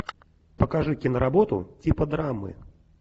покажи киноработу типа драмы